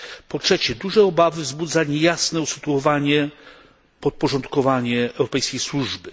Po trzecie, duże obawy wzbudza niejasne usytuowanie, podporządkowanie europejskiej służby.